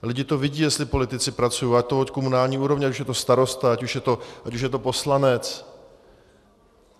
Lidi to vidí, jestli politici pracují, a to od komunální úrovně, ať už je to starosta, ať už je to poslanec.